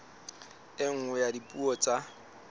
e nngwe ya dipuo tsa